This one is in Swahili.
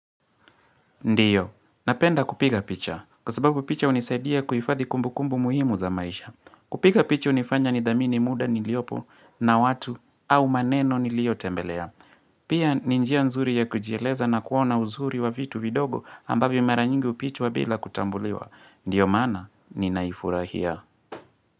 Ndiyo. Napenda kupiga picha. Kwa sababu picha hunisaidia kuifadhi kumbukumbu muhimu za maisha. Kupiga picha hunifanya nidhamini muda niliopo na watu au maneno niliyotembelea. Pia ni njia nzuri ya kujieleza na kuona uzuri wa vitu vidogo ambavyo mara nyingi hupitwa bila kutambuliwa. Ndiyo maana ninaifurahia.